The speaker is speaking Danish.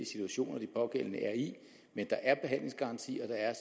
situationer de pågældende er i men der er behandlingsgaranti og der er